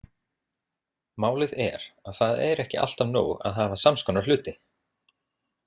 Málið er að það er ekki alltaf nóg að hafa samskonar hluti.